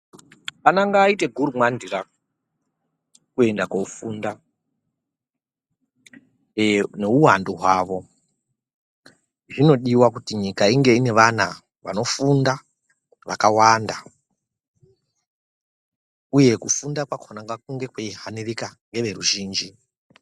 Ana ngaaite gurumwandira kuri kuenda kofunda neuwandu hwavo zvinodiwa kuti nyika inge nevana vakawanda uye kufunda kwakhona ngakunge kweihanirika neveruzhinji.